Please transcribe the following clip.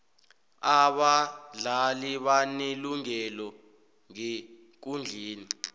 abadlali banelungelo ngekundleni